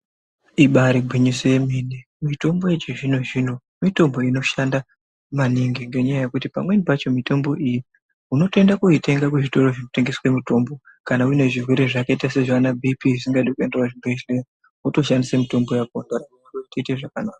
Ibari gwinyiso yeme mitombo yechizvino zvino mitombo inoshanda maningi ngekuti pamweni pacho mitombo iyi unotoyitenga kuzvitoro zvinotengeswa mitombo kana nezvirwere zvakaita sana bhipi zvisingadi kuenda kuzvibhedhlera wotoshandisa mitombo yakona kuti uite zvakanaka.